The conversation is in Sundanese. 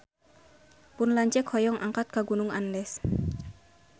Pun lanceuk hoyong angkat ka Gunung Andes